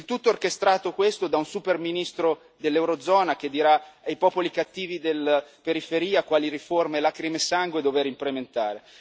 Il tutto orchestrato da un super ministro dell'Eurozona che dirà ai popoli cattivi della periferia quali riforme lacrime e sangue dover implementare.